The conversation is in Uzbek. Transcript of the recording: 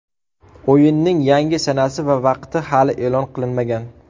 O‘yinning yangi sanasi va vaqti hali e’lon qilinmagan.